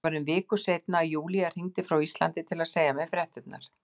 Það var um viku seinna að Júlía hringdi frá Íslandi til að segja mér fréttirnar.